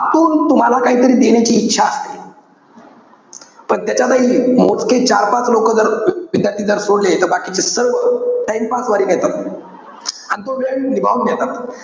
त्यांना आतून तुम्हाला काहीतरी देण्याची इच्छा असते. पण त्याच्यातही मोजके चार-पाच लोकं जर, विद्यार्थी जर सोडले. तर बाकीचे सर्व, time pass वारी नेतात. अन तो वेळ निभावून नेतात.